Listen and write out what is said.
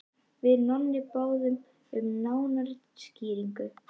Við Nonni báðum um nánari skýringu.